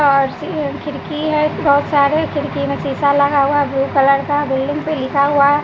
are C खिड़की है बहुत सारे खिड़की में शीशा लगा हुआ है ब्लू कलर का बिल्डिंग पे लिखा हुआ--